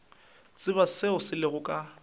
tsebe seo se lego ka